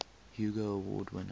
hugo award winner